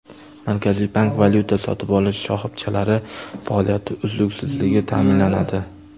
Markaziy bank: Valyuta sotib olish shoxobchalari faoliyati uzluksizligi ta’minlanadi.